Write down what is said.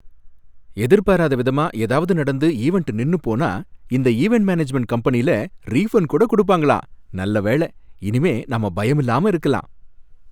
எதிர்பாராத விதமா ஏதாவது நடந்து ஈவண்ட் நின்னு போனா இந்த ஈவண்ட் மேனேஜ்மெண்ட் கம்பெனியில ரீஃபண்ட் கூட கொடுப்பாங்கலாம், நல்ல வேளை, இனிமே நாம பயமில்லாம இருக்கலாம்.